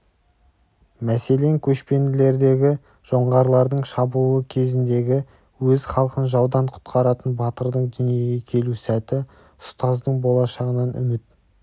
мәселен көшпенділердегі жоңғарлардың шабуылы кезіндегі өз халқын жаудан құтқаратын батырдың дүниеге келу сәті ұстаздың болашағынан үміт